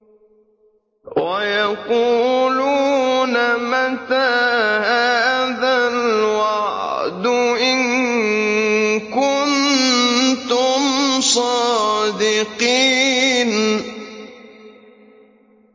وَيَقُولُونَ مَتَىٰ هَٰذَا الْوَعْدُ إِن كُنتُمْ صَادِقِينَ